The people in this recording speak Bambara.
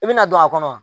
I bɛna don a kɔnɔ